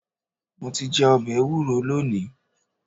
Mo ti jẹ ọbẹ ẹwúro lónìí.